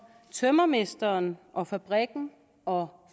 tømrermesteren og fabrikken og